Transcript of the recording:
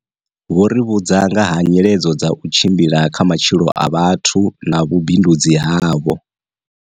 Vho ri vhudza ngaha nyiledzo dza u tshimbila kha matshilo a vhathu na vhu bindudzi havho.